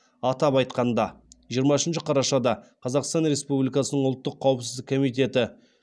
атап айтқанда жиырмасыншы қарашада қазақстан республикасының ұлттық қауіпсіздік комитеті